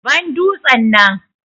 Ban dutsen nan.